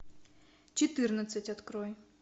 четырнадцать открой